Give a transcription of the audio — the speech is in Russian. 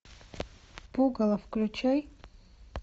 пугало включай